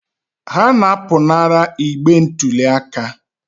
Ha na-apụnara igbe ntụli aka.